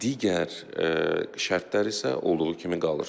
Digər şərtlər isə olduğu kimi qalır.